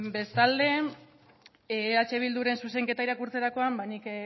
bestalde eh bilduren zuzenketa irakurtzerakoan nik